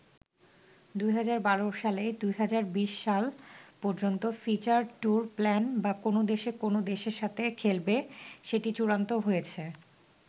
২০১২ সালেই ২০২০ সাল পর্যন্ত ফিউচার ট্যুর প্লান বা কোন দেশ কোন দেশের সাথে খেলবে সেটি চূড়ান্ত হয়েছে।